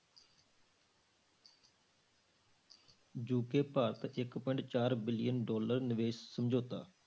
UK Bharat ਇੱਕ point ਚਾਰ billion dollar ਨਿਵੇਸ ਸਮਝੌਤਾ